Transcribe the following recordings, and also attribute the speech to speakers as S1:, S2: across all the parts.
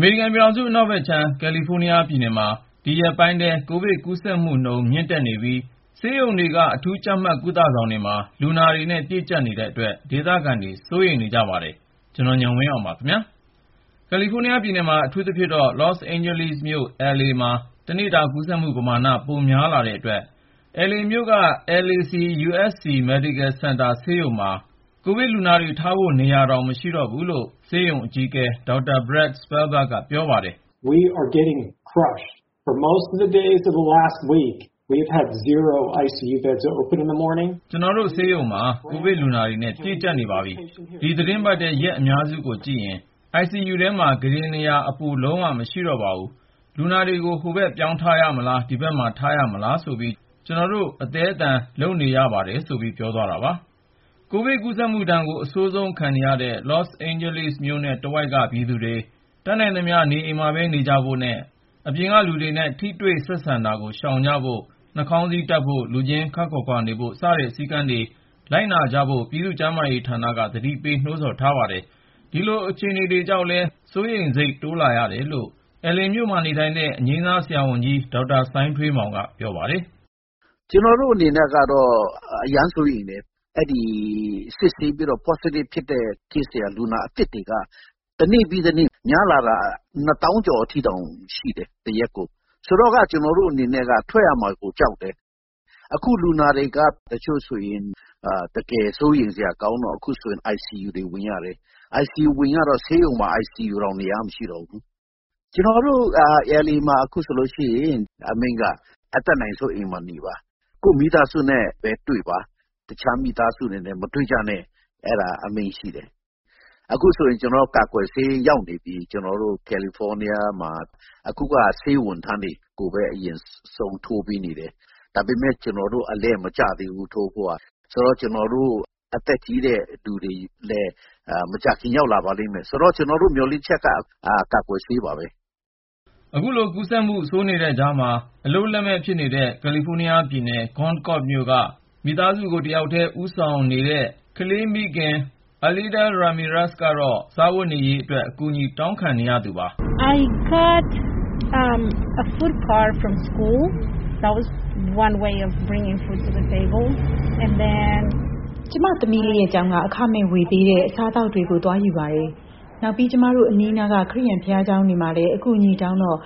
S1: မေရိကန်ပြည်ထောင်စု အနောက်ဘက်ခြမ်း ကယ်လီဖိုးနီးယားပြည်နယ်မှာ ဒီရက်ပိုင်းထဲ ကိုဗစ်ကူးစက်မှုနှုန်း မြင့်တက်နေပြီး ဆေးရုံတွေက အထူးကြပ်မတ် ကုသဆောင်တွေမှာ လူနာတွေနဲ့ ပြည့်ကြပ်နေတဲ့အတွက် ဒေသခံတွေ စိုးရိမ်နေကြတဲ့အကြောင်း ကိုဉာဏ်ဝင်းအောင် စုစည်းတင်ပြထားပါတယ်။ ကယ်လီဖိုးနီးယားပြည်နယ်မှာ အထူးသဖြင့် လော့စ်အိန်ဂျလိစ်မြို့ LA မှာ တနေ့တာ ကူးစက်မှုပမာဏ ပိုများလာတဲ့အတွက် LA မြို့က LAC-USC Medical Center ဆေးရုံမှာဆိုရင် ကိုဗစ်လူနာတွေထားဖို့ နေရာတောင် မရှိတော့ဘူးလို့ ဆေးရုံအကြီးအကဲ Dr. Brad Spellberg က ပြောပါတယ်။ "ကျနော်တို့ဆေးရုံမှာ ကိုဗစ်လူနာတွေနဲ့ ပြည့်ကြပ်နေပါပြီ။ ဒီသီတင်းပတ်ထဲ ရက်အများစုကိုကြည့်ရင် ICU ထဲမှာ ကုတင်နေရာအပို လုံးဝ မရှိတော့ပါဘူး။ လူနာတွေကို ဟိုဘက်ပြောင်းထားရမလား၊ ဒီဘက်မှာပဲ ထားရမလားဆိုပြီး ကျနော်တို့ အသည်းအသန် လုပ်နေရပါတယ်။" ကိုဗစ်ကူးစက်မှုဒဏ်ကို အဆိုးဆုံးခံနေရတဲ့ လော့စ်အိန်ဂျလိစ်မြို့နဲ့ တဝိုက်က ပြည်သူတွေ တတ်နိုင်သမျှ နေအိမ်ထဲမှာပဲ နေကြဖို့၊ အပြင်လူတွေနဲ့ ထိတွေ့ဆက်ဆံတာကို ရှောင်ဖို့နဲ့ နှာခေါင်းစည်းတပ်ဖို့၊ လူချင်းခပ်ခွာခွာနေဖို့ စတဲ့ စည်းကမ်းတွေ လိုက်နာကြဖို့ ပြည်သူ့ကျန်းမာရေးဌာနက သတိပေး နှိုးဆော်နေပါတယ်။ ဒီလိုအခြေအနေတွေကြောင့်လည်း စိုးရိမ်စိတ် တိုးလာရတယ်လို့ LA မြို့မှာ နေထိုင်တဲ့ အငြိမ်းစားဆရာဝန်ကြီး ဒေါက်တာ စိုင်းထွေးမောင်က ပြောပါတယ်။
S2: “ကျနော်တို့အနေနဲ့ကတော့ အရမ်းစိုးရိမ်တယ်။ ဆေးစစ်လိုက်တဲ့အခါမှာ Positive အတည်ပြုလူနာတွေက တနေ့ပြီးတနေ့ များလာတာ တရက်ကို ၂၀,၀၀၀ ကျော်အထိ ရှိတယ်။ ဆိုတော့ ကျနော်တို့အနေနဲ့ အပြင်ထွက်ရမှာကို ကြောက်လာတယ်။ အခု လူနာတွေက တချို့ဆိုရင် တကယ်ကို စိုးရိမ်စရာ ကောင်းတော့ ICU ထဲ ပို့ရတယ်။ ဆေးရုံမှာ ICU ဆိုရင် နေရာတောင် မရှိတော့ဘူး။ ကျနော်တို့ LA မှာ အခုဆိုလို့ရှိရင် အတတ်နိုင်ဆုံး အိမ်မှာနေဖို့၊ ကိုယ့်မိသားစုနဲ့ပဲ နေပါ၊ တခြားမိသားစုနဲ့ မတွေ့ပါနဲ့ဆိုပြီး အမိန့်ထုတ်ထားတယ်။ ခုဆိုရင် ကျနော်တို့ ကယ်လီဖိုးနီးယားကို ကာကွယ်ဆေးတွေ ရောက်နေပြီ။ ဒါပေမယ့် ဆေးဝန်ထမ်းတွေကိုပဲ အရင်ဆုံး ထိုးပေးနေတယ်။ ကျနော်တို့တော့ အလှည့်မကျသေးဘူး။ ကျနော်တို့ အသက်ကြီးတဲ့လူတွေအတွက် မကြာခင် အလှည့်ရောက်လာပါလိမ့်မယ်။ ဆိုတော့ ကျနော်တို့ရဲ့ မျှော်လင့်ချက်က ကာကွယ်ဆေ
S1: းပါပဲ။” အခုလို ကိုဗစ်ကူးစက်မှု ဆိုးနေတဲ့ကြားမှာ အလုပ်လက်မဲ့ဖြစ်နေတဲ့ ကယ်လီဖိုးနီးယားပြည်နယ် Concord မြို့က မိသားစုကို တယောက်တည်း ဦးဆောင်နေရတဲ့ ကလေးမိခင် Aleida Ramirez ကတော့ စားဝတ်နေရေးအတွက် အကူအညီ တောင်းခံနေရသူပါ။ “
S2: ကျမသမီးလေးရဲ့ ကျောင်းက အခမဲ့ဝေပေးတဲ့ အစားအသောက်တွေကိုလည်း သွားယူပါတယ်။ နောက်ပြီး ကျမတို့ အနီးအနားက ခရစ်ယာန် ဘုရားကျောင်းတွေမှာလည်း အကူအညီတောင်းခံတော့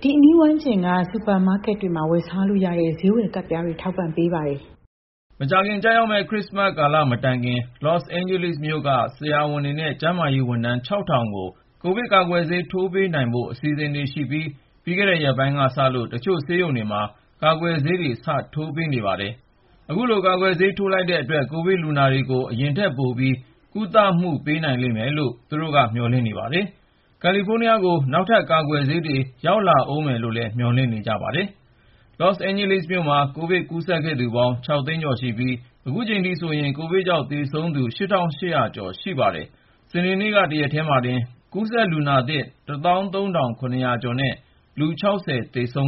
S2: ဒီအနီးဝန်းကျင်က စူပါမားကက်တွေမှာ ဝယ်စားလို့ရတဲ့ ဈေးဝယ်ကတ်ပြားတွေ ထောက်ပံ့ကြပါတယ်။”
S1: မကြာခင်ကျရောက်မယ့် ခရစ္စမတ်ကာလ မတိုင်ခင် လော့စ်အိန်ဂျလိစ်မြို့က ဆရာဝန်တွေနဲ့ ကျန်းမာရေးဝန်ထမ်း ၆,၀၀၀ ကို ကိုဗစ်ကာကွယ်ဆေး ထိုးပေးနိုင်ဖို့ အစီအစဉ်ရှိပြီး ပြီးခဲ့တဲ့ ရက်ပိုင်းကစလို့ တချို့ဆေးရုံတွေမှာ ကာကွယ်ဆေးတွေ စထိုးပေးနေပါတယ်။ အခုလို ကာကွယ်ဆေး ထိုးလိုက်ရတဲ့အတွက် ကိုဗစ်လူနာတွေကို အရင်ထက် ပိုပြီး ကုသမှု ပေးနိုင်လိမ့်မယ်လို့ သူတို့က ပြောပါတယ်။ ကယ်လီဖိုးနီးယားကို နောက်ထပ် ကာကွယ်ဆေးတွေ ရောက်လာဦးမယ်လို့ မျှော်လင့်နေကြတာပါ။ လော့စ်အိန်ဂျလိစ်မြို့မှာ ကိုဗစ်ကူးစက်ခဲ့သူပေါင်း ၆ သိန်းကျော်ရှိပြီး ခုချိန်ထိဆိုရင် ကိုဗစ်ကြောင့် သေဆုံးသူ ၈,၈၀၀ ကျော် ရှိပါတယ်။ စနေနေ့က တရက်တည်းမှာတင် ကိုဗစ်ကူးစက်လူနာသစ် ၁၃,၇၀၀ ကျော်နဲ့ သေဆုံးသူ ၆၀ ကျော် ရှိ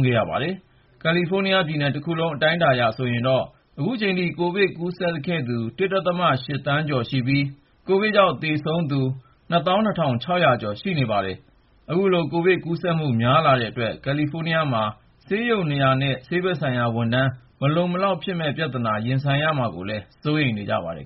S1: ခဲ့ပါတယ်။ ကယ်လီဖိုးနီးယားပြည်နယ်တခုလုံး အတိုင်းအတာအရ ဆိုရင်တော့ ခုချိန်ထိ ကိုဗစ်ကူးစက်ခဲ့သူပေါင်း ၁.၈ သန်းကျော်ရှိပြီး ကိုဗစ်ကြောင့် သေဆုံးသူ ၂၂,၆၀၀ ကျော် ရှိပါတယ်။ အခုလို ကိုဗစ်ကူးစက်မှု များလာနေတဲ့အတွက် ကယ်လီဖိုးနီးယားမှာ ဆေးရုံနေရာနဲ့ ဆေးဘက်ဆိုင်ရာဝန်ထမ်း မလုံလောက်ဖြစ်မယ့် ပြဿနာ ရင်ဆိုင်လာရမှာကိုလည်း စိုးရိမ်နေကြပါတယ်